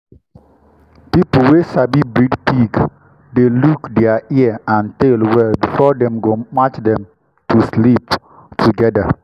people wey sabi breed pig dey look dia ear and tail well before dem go match dem to sleep togeda.